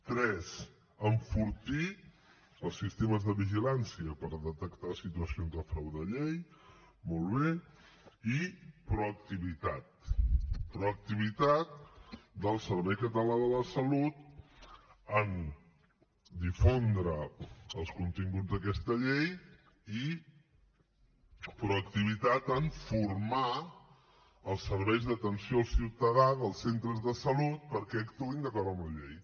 tres enfortir els sistemes de vigilància per detectar situacions de frau de llei molt bé i proactivitat proactivitat del servei català de la salut en difondre els continguts d’aquesta llei i proactivitat en formar els serveis d’atenció al ciutadà dels centres de salut perquè actuïn d’acord amb la llei